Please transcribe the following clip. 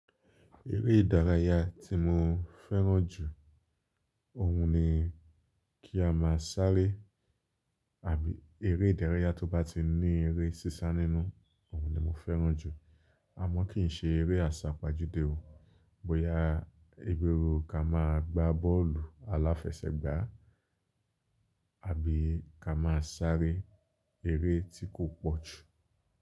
Eré ìdárayá tí mo fẹ́ràn jù, òun ni kí a máa sáré àbí eré ìdárayá tó bá ti ní eré sísá nínú, òun ni mo fẹ́ràn jù. A mọ̀ kíí ṣe eré àsápajúdé o. Bóyá bi ru ká máa gbá bọ́ọ̀lù aláfẹsẹ̀gbá, àbí ká máa sáré, eré tí kò pọ̀jù.